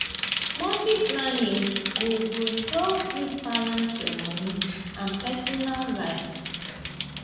monthly planning go go help yu balance yur moni and personal life.